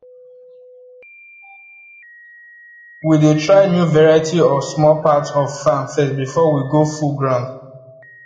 we dey try new variety for small part of farm first before we go full ground